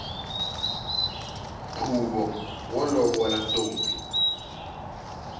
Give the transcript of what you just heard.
khuvo wo lovolo ntombi